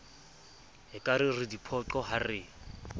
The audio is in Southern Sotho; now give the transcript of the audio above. ekare re diphoqo ha re